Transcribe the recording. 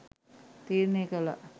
තීරණය කළා.